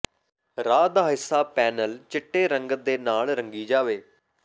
raw ਦਾ ਹਿੱਸਾ panel ਚਿੱਟੇ ਰੰਗਤ ਦੇ ਨਾਲ ਰੰਗੀ ਜਾਵੇ